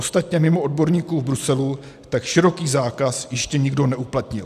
Ostatně mimo odborníků v Bruselu tak široký zákaz ještě nikdo neuplatnil.